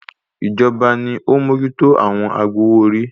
Ìjọba ni ó ń mójútó àwọn agbowó - orí